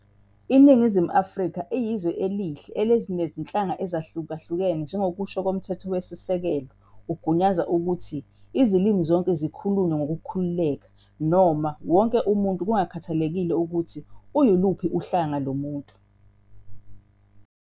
Iningizimu Afrika iyizwe elihle elinezinhlanga ezahlukahlukene, njengokusho komthethosisekelo ugunyaza ukuthi izilimi zonke zikhulunywe ngokukhululeka noma wonke umuntu kungakhathalekile ukuthi uyinhlanga yiphi yomuntu.